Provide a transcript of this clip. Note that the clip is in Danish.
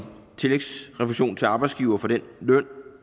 tillægsrefusion til arbejdsgivere for den løn